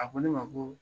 A ko ne ma ko